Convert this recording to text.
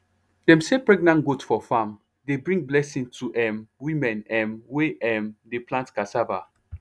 dem say pregnant goat for farm dey bring blessing to um women um wey um dey plant cassava